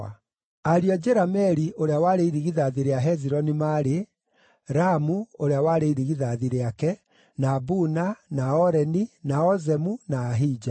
Ariũ a Jerameeli, ũrĩa warĩ irigithathi rĩa Hezironi, maarĩ: Ramu ũrĩa warĩ irigithathi rĩake, na Buna, na Oreni, na Ozemu, na Ahija.